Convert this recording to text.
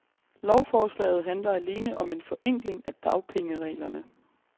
Lovforslaget handler alene om en forenkling af dagpengereglerne.